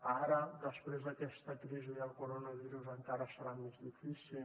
ara després d’aquesta crisi del coronavirus encara serà més difícil